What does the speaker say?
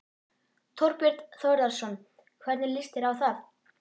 Þorbjörn Þórðarson: Hvernig líst þér á það?